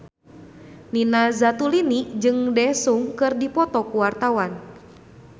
Nina Zatulini jeung Daesung keur dipoto ku wartawan